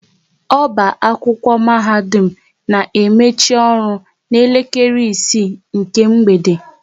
Ọba akwụkwọ mahadum na emechi ọrụ na elekere isii nke mgbede